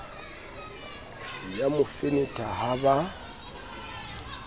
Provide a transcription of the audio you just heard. ya mo fenetha ha ba